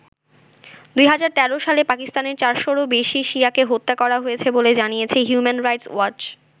২০১৩ সালে পাকিস্তানে ৪শ’রও বেশি শিয়াকে হত্যা করা হয়েছে বলে জানিয়েছে হিউম্যান রাইটস ওয়াচ।